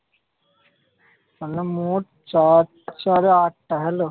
তাহলে মোট চার চারে আটটা। hello?